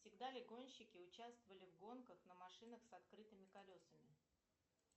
всегда ли гонщики участвовали в гонках на машинах с открытыми колесами